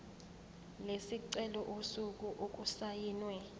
lesicelo usuku okusayinwe